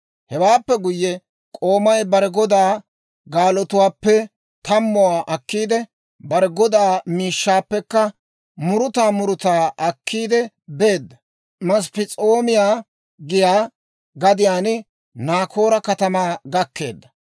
Hewaappe guyye, k'oomay bare godaa gaalotuwaappe tammuwaa akkiidde, bare godaa miishshaappekka muruta murutaa akkiidde beedda; Masp'p'es'oomiyaa giyaa gadiyaan Naakoora katamaa gakkeedda.